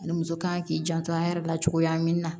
Ani muso kan k'i janto an yɛrɛ la cogoya min na